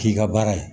K'i ka baara ye